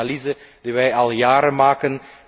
Het is een analyse die wij al jaren maken.